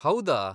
ಹೌದಾ?